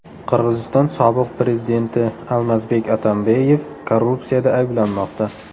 Qirg‘iziston sobiq prezidenti Almazbek Atambeyev korrupsiyada ayblanmoqda.